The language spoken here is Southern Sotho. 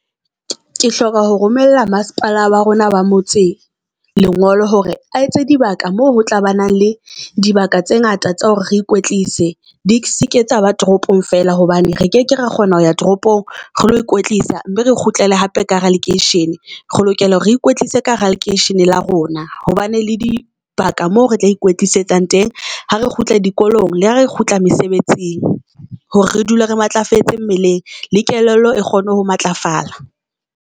Ke hloka ho romella masepala wa rona ba motse lengolo hore a entse di baka moo ho tla ba nang le di baka tse ngata tsa hore re ikwetlise di seke tsa ba toropong fela hobane re keke ra kgona ho ya toropong re lo ikwetlisa mme re kgutlele hape ka hara lekeishene. Re lokela hore re ikwetlise ka hara lekeisheneng la rona ho bane le di baka moo re tla ikwetlisang teng ha re kgutla dikolong le ha re kgutla mesebetsing hore re dule re matlafetse mmeleng le kelello e kgone ho matlafala.